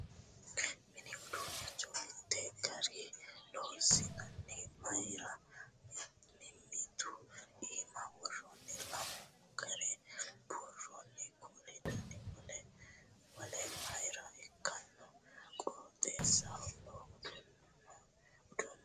Mini uduunnicho mittu garii loonsonniha mayiira mimmitu iima worrooni? Lamunkura buurronni kuuli dana wole wole mayiira ikkino? Qooxesaho noo uduunnino maati?